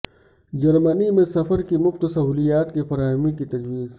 جرمنی میں سفر کی مفت سہولیات کی فراہمی کی تجویز